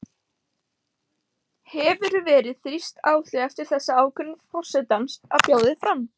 Hefur verið þrýst á þig eftir þessa ákvörðun forsetans að bjóða þig fram?